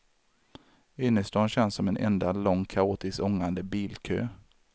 Innerstaden känns som en enda lång kaotisk ångande bilkö.